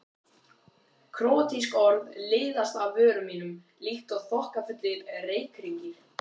Króatísk orð liðast af vörum mínum líkt og þokkafullir reykhringir.